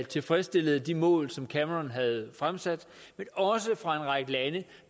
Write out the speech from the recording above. tilfredsstillede de mål som cameron havde fremsat men også fra en række lande